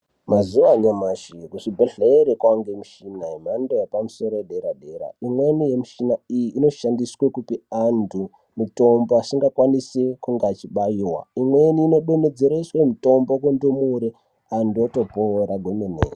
Mazuva anyamashi kuzvibhedhlere kwaa ngemichina yemhando yepamusoro yedera-dera. Imweni yemishina iyi inoshandiswe kupe antu mitombo asingakwanisi kunge achibaiwa. Imweni inodonhedzereswe mitombo kundumure, antu otopora kwemene.